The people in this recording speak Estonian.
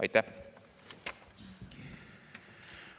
Aitäh!